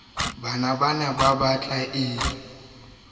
le tsh wanetse ho o